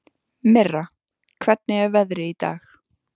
Mirra, hvernig er veðrið í dag?